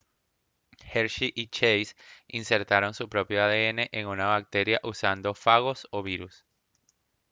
hershey y chase insertaron su propio adn en una bacteria usando fagos o virus